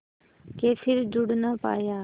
के फिर जुड़ ना पाया